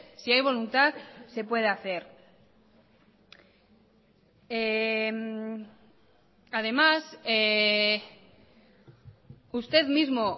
si hay voluntad se puede hacer además usted mismo